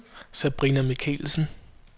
Sabrina Michelsen